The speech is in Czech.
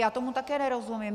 Já tomu také nerozumím.